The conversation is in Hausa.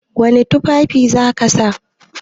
Wani tufafi za ka sa?